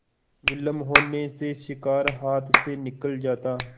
विलम्ब होने से शिकार हाथ से निकल जाता